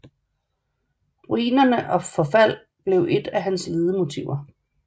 Ruiner og forfald blev et af hans ledemotiver